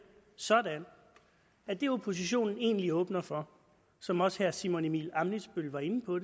sådan at det oppositionen egentlig åbner for og som også herre simon emil ammitzbøll var inde på